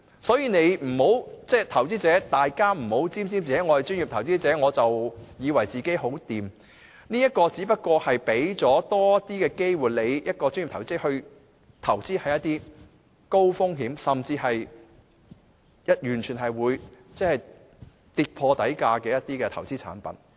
所以，投資者不要沾沾自喜，以為自己屬專業投資者便代表很有本事，這"專業投資者"資格只不過讓人有機會投資一些高風險，甚至可能會跌破底價的投資產品。